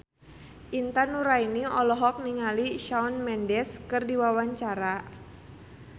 Intan Nuraini olohok ningali Shawn Mendes keur diwawancara